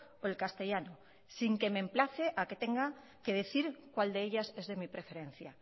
o el castellano sin que me emplace a que tenga que decir cuál de ellas es de mi preferencia